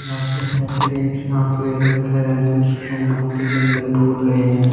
यहाँ पे एक सांप ले रखा है जिसको मटी के अंदर बूर रहे है।